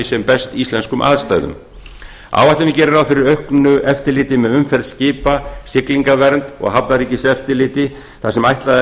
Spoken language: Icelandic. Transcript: sem best íslenskum aðstæðum áætlunin gerir ráð fyrir auknu eftirliti með umferð skipa siglingavernd og hafnaeftiriti þar sem ætlað